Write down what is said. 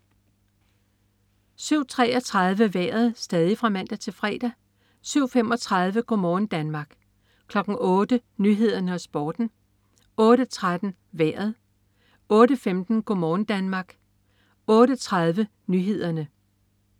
07.33 Vejret (man-fre) 07.35 Go' morgen Danmark (man-fre) 08.00 Nyhederne og Sporten (man-fre) 08.13 Vejret (man-fre) 08.15 Go' morgen Danmark (man-fre) 08.30 Nyhederne (man-fre)